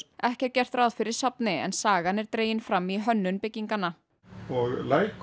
ekki er gert ráð fyrir safni en sagan er dregin fram í hönnun bygginganna